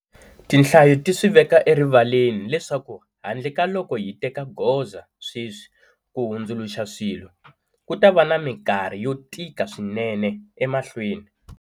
Tinhlayo ti swi veka erivaleni leswaku handle ka loko hi teka goza sweswi ku hundzuluxa swilo, ku ta va na mikarhi yo tika swinene emahlweni.